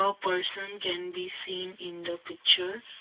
a person can be seen in the picture.